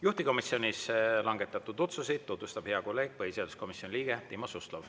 Juhtivkomisjonis langetatud otsuseid tutvustab hea kolleeg, põhiseaduskomisjoni liige Timo Suslov.